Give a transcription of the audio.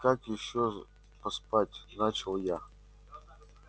как ещё поспать начал я